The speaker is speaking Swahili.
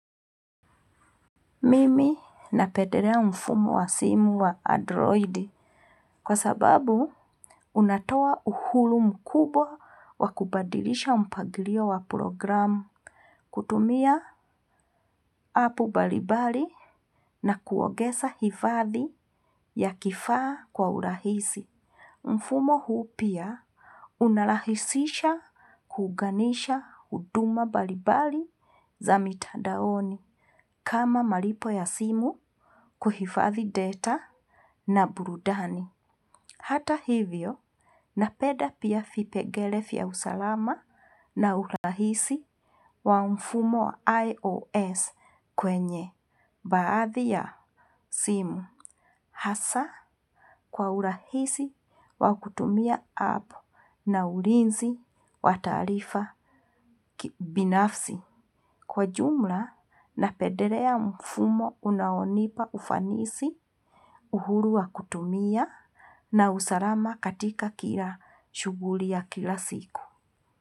Mimi napedelea, mfumo wa simu wa androidi, kwa sababu. Unatoa uhuru mkubwa wa kubadilisha mpangilio wa programu, hutumia app mbalimbali na kuongeza hifadhi ya kifaa kwa urahisi. Mfumo huu pia unarahisisha kuunganisha huduma mbalimbali za mitandaoni, kama malipo ya simu kuhifadhi data na burudani. Hata hivyo, napenda pia vipengele vya usalama, na urahisi wa mfumo IOS kwenye baadhi ya simu. Hasa kwa urahisi wa kutumia app na ulinzi wa taarifa binafsi. Kwa jumla napendelea mfumo unaonipa ufanisi, uhuru wa kutumia na usalama katika kila shughuli ya kila siku.